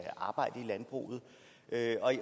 arbejde på i landbruget